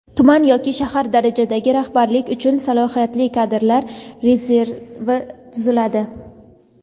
Tuman yoki shahar darajasidagi rahbarlik uchun Salohiyatli kadrlar rezervi tuziladi:.